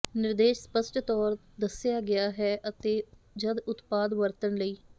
ਨਿਰਦੇਸ਼ ਸਪਸ਼ਟ ਤੌਰ ਦੱਸਿਆ ਗਿਆ ਹੈ ਅਤੇ ਜਦ ਉਤਪਾਦ ਵਰਤਣ ਲਈ